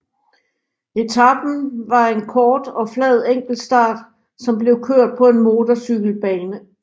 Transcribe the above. Etapen var en kort og flad enkeltstart som blev kørt på en motorcykelbane